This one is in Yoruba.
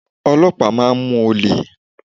Ọlọ́pàá máa ń mú olè.